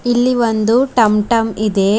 ಇಲ್ಲಿ ಒಂದು ಟಂ ಟಂ ಇದೆ.